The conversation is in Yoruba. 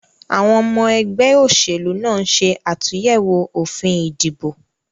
Àwon omo egbé òsèlú náà nse àtúyèwò òfin ìdìbò